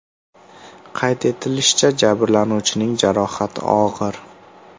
Qayd etilishicha, jabrlanuvchining jarohati og‘ir.